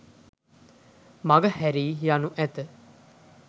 මගහැරී යනු ඇත.